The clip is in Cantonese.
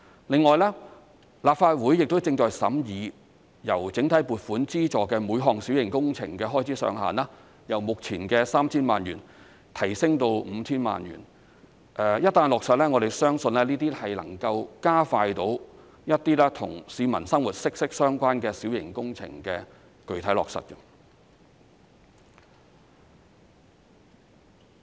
另外，立法會亦正審議把由整體撥款資助的每項小型工程開支上限由目前的 3,000 萬元提升至 5,000 萬元；一旦落實，我們相信能夠加快一些與市民生活息息相關的小型工程的具體落實。